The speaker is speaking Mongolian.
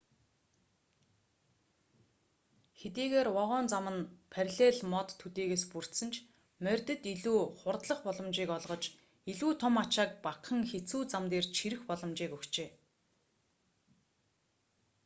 хэдийгээр вагон зам нь параллель мод төдийгөөс бүрдсэн ч морьдод илүү хурдлах боломжийг олгож илүү том ачааг багахан хэцүү зам дээр чирэх боломжийг өгчээ